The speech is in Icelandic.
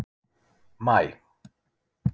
maí